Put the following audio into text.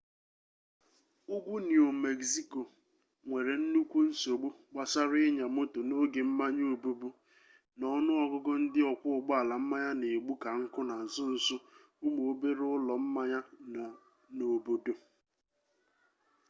ugwu niu megziko nwere nnukwu nsogbu gbasara ịnya moto n'oge mmanya obubu na ọnụ ọgụgụ ndị ọkwọ ụgbọala mmanya na-egbu ka nkụ na nsonso ụmụ obere ụlọ mmanya nọ n'obodo